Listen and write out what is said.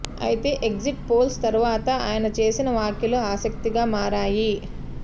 ఐతే exit polls తర్వాత ఆయన చేసిన వ్యాఖ్యలు ఆసక్తిగా మారాయి